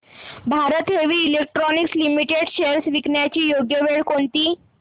Bharat Heavy Electricals Limited shares विकण्याची योग्य वेळ कोणती